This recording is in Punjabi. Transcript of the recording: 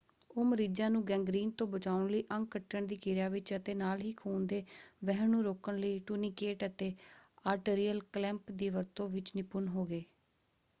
ਉਹ ਮਰੀਜ਼ਾਂ ਨੂੰ ਗੈਂਗਰੀਨ ਤੋਂ ਬਚਾਉਣ ਲਈ ਅੰਗ ਕੱਟਣ ਦੀ ਕਿਰਿਆ ਵਿੱਚ ਅਤੇ ਨਾਲ ਹੀ ਖੂਨ ਦੇ ਵਹਿਣ ਨੂੰ ਰੋਕਣ ਲਈ ਟੂਨੀਕੇਟ ਅਤੇ ਆਰਟਰੀਅਲ ਕਲੈਂਪ ਦੀ ਵਰਤੋਂ ਵਿੱਚ ਨਿਪੁੰਨ ਹੋ ਗਏ।